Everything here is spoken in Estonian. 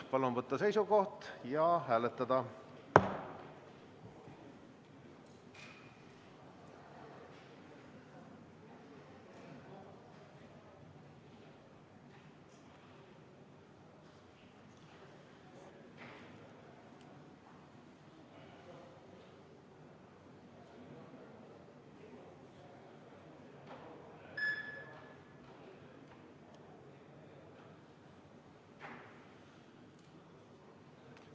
Palun võtta seisukoht ja hääletada!